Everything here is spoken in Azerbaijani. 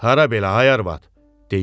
Hara belə, ay arvad?